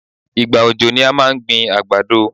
Ìgbà òjò ni à máa ń gbin àgbàdo.